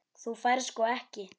Þú færð sko ekki.